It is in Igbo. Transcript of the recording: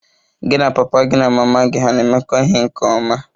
Gị na papa gị na mama gị hà na-emekọ ihe nke ọma?